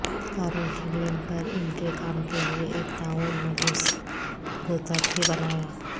کاروں کی لین پر ان کے کام کے لئے ایک تعاون ملوث غوطہ تھے بنایا